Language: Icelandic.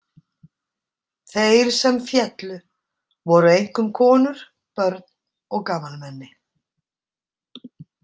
Þeir sem féllu voru einkum konur, börn og gamalmenni.